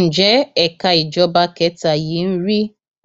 ǹjẹ ẹka ìjọba kẹta yìí ń rí